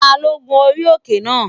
Ta ló gun orí òkè náà?